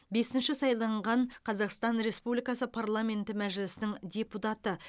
бесінші сайланған қазақстан республикасы парламенті мәжілісінің депутаты